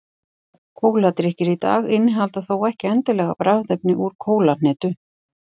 kóladrykkir í dag innihalda þó ekki endilega bragðefni úr kólahnetu